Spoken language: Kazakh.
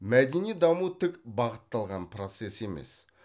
мәдени даму тік бағытталған процесс емес